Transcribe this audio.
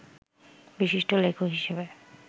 বিশিষ্ট লেখক হিসেবে